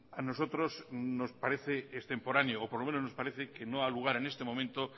a nosotros nos parece que es temporáneo o por lo menos nos parece que no a lugar en este momento